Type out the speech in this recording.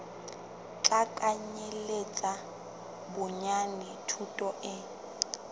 tla kenyeletsa bonyane thuto e